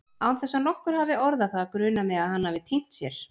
Án þess að nokkur hafi orðað það grunar mig að hann hafi týnt sér.